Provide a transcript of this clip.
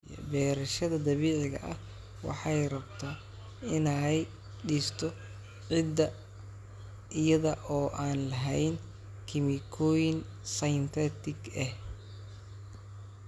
Beerashada dabiiciga ah waxay rabta inay dhisto ciidda iyada oo aan lahayn kiimikooyin synthetic ah.